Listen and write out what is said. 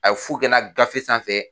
A ye fu kɛ n na gafe sanfɛ